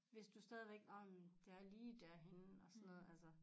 Hvis du stadigvæk nå men det er lige derhenne og sådan noget altså